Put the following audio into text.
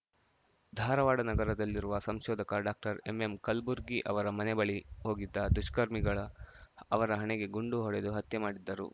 ಧಾರವಾಡ ನಗರದಲ್ಲಿರುವ ಸಂಶೋಧಕ ಡಾಕ್ಟರ್ ಎಂಎಂಕಲ್ಬುರ್ಗಿ ಅವರ ಮನೆ ಬಳಿ ಹೋಗಿದ್ದ ದುಷ್ಕರ್ಮಿಗಳ ಅವರ ಹಣೆಗೆ ಗುಂಡು ಹೊಡೆದು ಹತ್ಯೆ ಮಾಡಿದ್ದರು